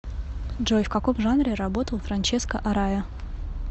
джой в каком жанре работал франческо арая